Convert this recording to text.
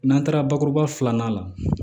N'an taara bakuruba filanan la